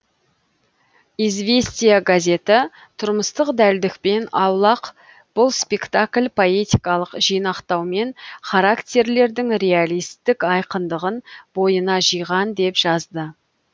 известия газеті тұрмыстық дәлдікпен аулақ бұл спектакль поэтикалық жинақтаумен характерлердің реалистік айқындығын бойына жиған деп жазды